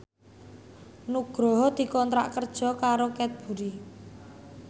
Nugroho dikontrak kerja karo Cadbury